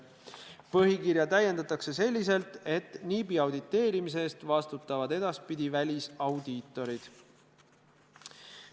Põhikirja täiendatakse selliselt, et NIB-i auditeerimise eest vastutavad edaspidi välisaudiitorid.